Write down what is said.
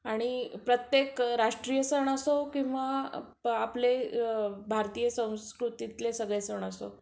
आणि प्रत्येक राष्ट्रीय सण असो किंवा आपले भारतीय संस्कृतीतले सगळे सण असो